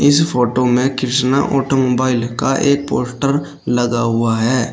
इस फोटो में कृष्णा ऑटोमोबाइल का एक पोस्टर लगा हुआ है।